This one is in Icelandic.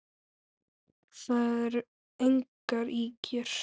Það eru engar ýkjur.